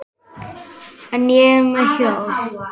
En ég er með hjól.